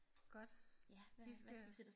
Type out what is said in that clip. Godt hvad hvad